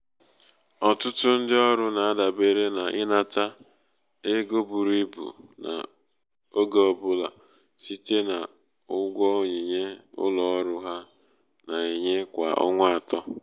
ọtụtụ ndị ọrụ na-adabere n’ịnata ego buru ibu oge ọ bụla site n’ụgwọ onyinye ụlọ ọrụ ha na-enye kwa ọnwa atọ.